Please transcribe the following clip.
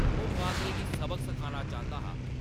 ओह्‌‌ बांदरै गी सबक सखाना चांह्‌‌‌दा हा ।